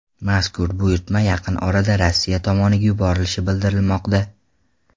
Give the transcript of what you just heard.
Mazkur buyurtma yaqin orada Rossiya tomoniga yuborilishi bildirilmoqda.